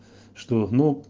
что ну